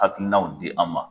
Hakinaw di an ma.